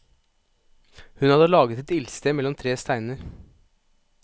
Hun hadde laget et ildsted mellom tre steiner.